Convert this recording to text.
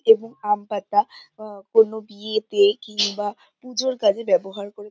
এবং আম পাতা আহ কোন বিয়েতে কিংবা পুজোর কাজে ব্যবহার করে--